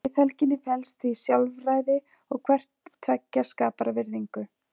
Í friðhelginni felst því sjálfræði og hvort tveggja skapar virðingu.